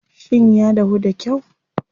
Shin ya dahu da kyau?